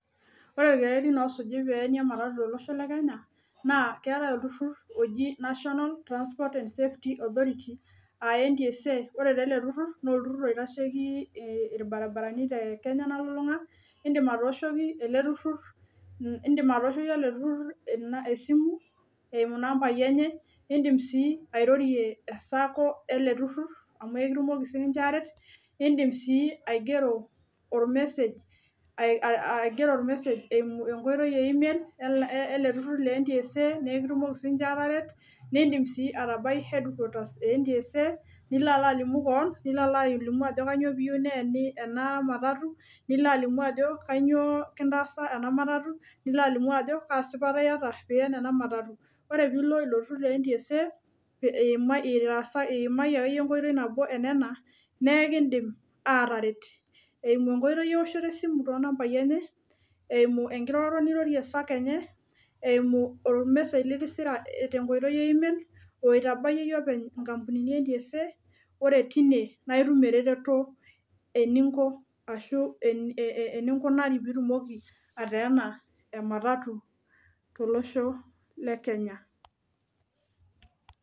Ore irkererin osuji peenyi ematatu tolosho le kenya naa keetae olturur oji national transport and safety authority aa NTSA , ore taa ele turur naa olturur oitasheiki irbairbarani te kenya nalulung'a , nindim atooshoki ele turur , indim atooshoki ele turur ena esimu eimu inambai enye , nindim sii airorie esako ele turur amu ekitumoki siniche aret , nindim sii aigero or message a a aigero or message eimu enkoitoi email el turur le NTSA nee ekitumoki siniche ataret , nindim sii atabai headquarter ee NTSA nilo alo alimu kewon , nilo alo alimu ajo kainyio piyieu neeni ena matatu nilo alimu ajo kainyioo kintaasa ena matatu nilo alimu ajo kaa sipata iata pien ena matatu . Ore pilo ilo turur le NTSA iimayie, itaasa , iimayie akeyie enkoitoi nabo enena naa enkidim ataret eimu enkoitoi eoshoto esimu tonambai enye, eimu enkiroroto nirorie sacco enye , eimu or message litisira tenkoitoi e e- mail oitabayie iyie openy nkampunini e NTSA , ore tine naa itum ereteto eninko ashu eninkunari pitumoki ateena e matatu tolosho le kenya.